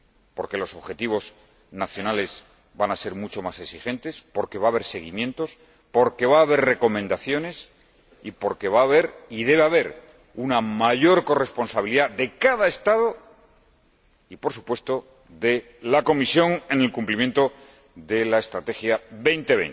Porque los objetivos nacionales van a ser mucho más exigentes, porque va a haber seguimientos, porque va a haber recomendaciones y porque va a haber, y debe haber, una mayor corresponsabilidad de cada Estado y, por supuesto, de la Comisión, en el cumplimiento de la Estrategia Europa 2020.